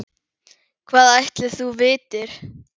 Hvað ætli þú vitir?